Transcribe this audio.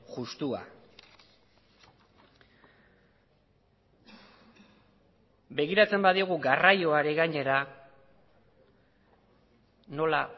justua begiratzen badiogu garraioari gainera nola